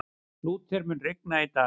Lúther, mun rigna í dag?